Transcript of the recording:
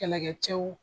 Kɛlɛkɛcɛw